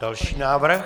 Další návrh.